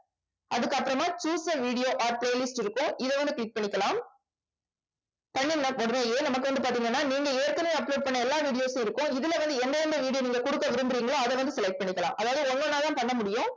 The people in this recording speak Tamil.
அதுக்கப்புறமா the videos or playlist இருக்கும் இதை வந்து click பண்ணிக்கலாம் பண்ணுன உடனேயே நமக்கு வந்து பாத்தீங்கன்னா நீங்க ஏற்கனவே upload பண்ண எல்லா videos உம் இருக்கும். இதுல வந்து என்னென்ன video நீங்க குடுக்க விரும்புறீங்களோ அதை வந்து select பண்ணிக்கலாம். அதாவது ஒவ்வொன்னா தான் பண்ண முடியும்.